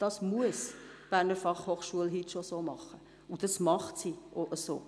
Das muss die BFH heute bereits entsprechend machen und das macht sie auch.